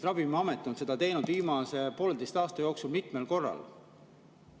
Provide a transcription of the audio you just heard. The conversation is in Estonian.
Ravimiamet on seda viimase poolteise aasta jooksul mitmel korral teinud.